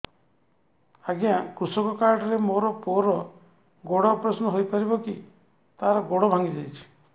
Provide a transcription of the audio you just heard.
ଅଜ୍ଞା କୃଷକ କାର୍ଡ ରେ ମୋର ପୁଅର ଗୋଡ ଅପେରସନ ହୋଇପାରିବ କି ତାର ଗୋଡ ଭାଙ୍ଗି ଯାଇଛ